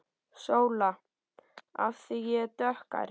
SÓLA: Af því ég er dökkhærð.